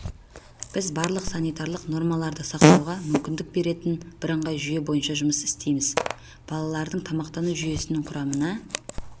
біз барлық санитарлық нормаларды сақтауға мүмкіндік беретін бірыңғай жүйе бойынша жұмыс істейміз балалардың тамақтану жүйесінен құрамында